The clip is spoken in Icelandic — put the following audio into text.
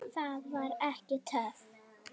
Það var ekki töff.